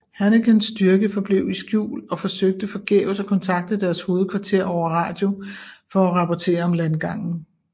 Hannekens styrke forblev i skjul og forsøgte forgæves at kontakte deres hovedkvarter over radio for at rapportere om landgangen